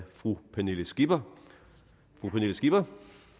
fru pernille skipper skipper